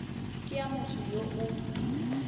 ke ya motho yo o